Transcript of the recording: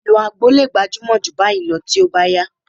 Ìlò àgbo lè gbajúmọ̀ jù báyìí lọ tí ó bá yá